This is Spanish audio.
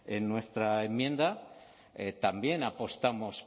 en nuestra enmienda también apostamos